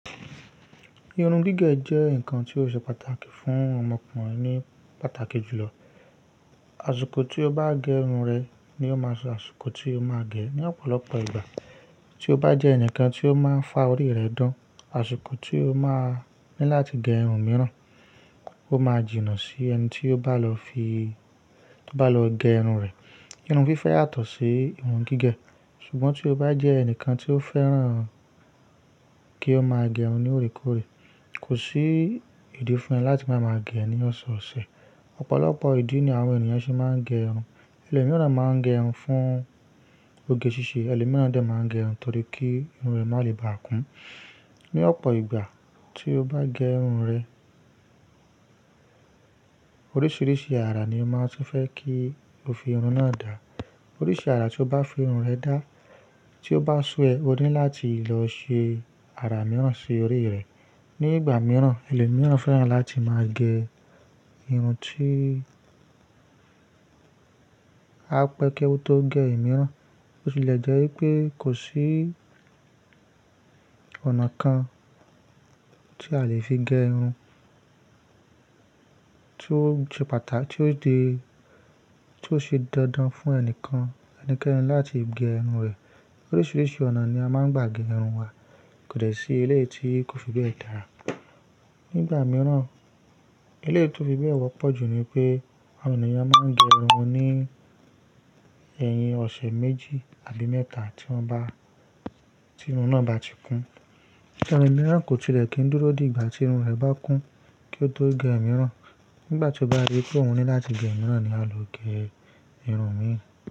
Irun gígẹ̀ jẹ́ ǹkan tí ó ṣe pàtàkì fún ọmọkùnrin ní pàtàkì jùlọ. Aṣiko tí o bá gẹ irun rẹ ni ó máa ṣe aṣiko tí o máa gẹ ní ọ̀pọ̀lọpọ̀ ìgbà. Tí o bá jẹ́ ẹnìkan tí ó máa ń fa orí rẹ̀ dán, aṣiko tí o máa ní láti gẹ irun mìíràn, o máa jìnnà sí ẹni tí o bá lọ fi, tí o bá lọ gẹ irun rẹ̀. Irun fífẹ́ yàtọ̀ sí irun gígẹ̀. Ṣùgbọ́n tí o bá jẹ́ ẹnìkan tí ó fẹ́ràn kí o máa gẹ irun ní òrékòré, kò sí ìdí fún ẹ láti máa ma gẹ ẹ́ ní ọ̀sọ̀ọ̀sẹ̀. Ọ̀pọ̀lọpọ̀ ìdí ni àwọn ènìyàn ṣe máa ń gẹ irun. Ẹlẹ̀míràn máa ń gẹ irun fún oge ṣíṣe, ẹlẹ̀míràn dẹ̀ máa ń gẹ irun torí kí irun rẹ̀ má lè bá a kún. Ni ọ̀pọ̀ ìgbà tí o bá gẹ irun rẹ, oríṣìíríṣìí àrà ni ń máa ń tún fẹ́ kí o fi irun náà dà. Oríṣi àrà tí o bá fi irun rẹ dá, tí o bá sú ẹ, o ní láti lọ ṣe àrà mìíràn sí orí rẹ̀. Ni ìgbà mìíràn, ẹlẹ̀míràn fẹ́ràn láti máa gẹ irun tí á pẹ́ kí ó tó gẹ ẹ̀ mìíràn. Ó tilẹ̀ jẹ́ wípé kò sí ọ̀nà kan tí a lè fi gẹ irun tí ó ṣe pàtàkì, tí ó di, tí ó ṣe dandan fún ẹnìkan ẹnikẹ́ni láti gẹ irun rẹ̀. Oríṣìíríṣìí ọ̀nà ni a máa ń gbà gé irun wa. Kò dẹ̀ sí e léyìí tí kò fi bẹ́ẹ̀ dára. Ni ìgbà mìíràn, e léyìí tí ó fi bẹ́ẹ̀ wọ́pọ̀ jù ni pé àwọn ènìyàn máa ń gẹ irun ní ẹ̀yìn ọ̀sẹ̀ méjì àbí mẹ́ta tí wọ́n bá, tí irun náà bá ti kún. Tẹlo mìíràn kò tilẹ̀ kí n dúró di ìgbà tí irun rẹ̀ bá kún kí ó tó gẹ ẹ̀ mìíràn? Nígbà tí o bá rí pé o ní láti gẹ mìíràn ni a lọ gẹ irun mii.